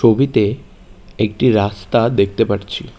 ছবিতে একটি রাস্তা দেখতে পারছি।